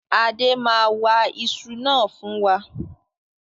Adé máa wa ìṣù fún wa.